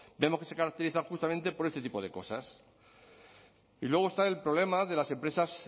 vemos que se caracterizan justamente por este tipo de cosas y luego está el problema de las empresas